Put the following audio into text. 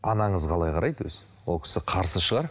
анаңыз қалай қарайды өзі ол кісі қарсы шығар